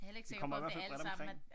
Vi kommer i hvert fald bredt omkring